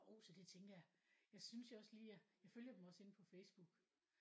Jo så det tænker jeg. Jeg synes jeg også lige jeg jeg følger dem også inde på Faceboook